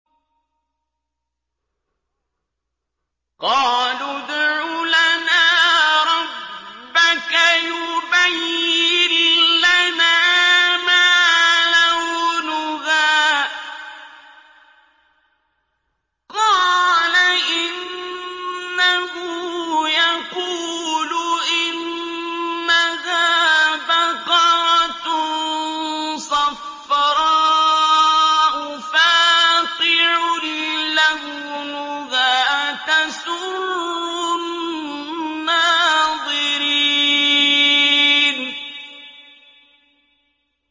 قَالُوا ادْعُ لَنَا رَبَّكَ يُبَيِّن لَّنَا مَا لَوْنُهَا ۚ قَالَ إِنَّهُ يَقُولُ إِنَّهَا بَقَرَةٌ صَفْرَاءُ فَاقِعٌ لَّوْنُهَا تَسُرُّ النَّاظِرِينَ